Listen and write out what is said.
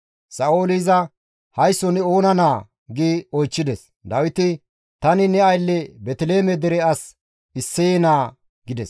Sa7ooli iza, «Haysso ne oona naa?» gi oychchides. Dawiti, «Tani ne aylle Beeteliheeme dere as Isseye naa» gides.